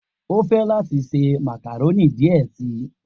O fẹ lati se macaroni diẹ sii